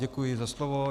Děkuji za slovo.